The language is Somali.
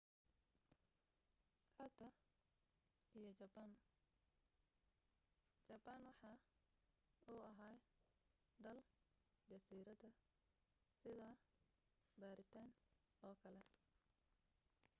hadda iyo jabaan jabaan waxaa uu ahaa dal jasiirada sida biritan oo kale